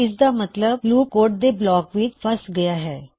ਇਸਦਾ ਮੱਤਲਬ loop code ਦੇ ਬਲਾਕ ਵਿੱਚ ਫਸ ਗਇਆ ਹੈ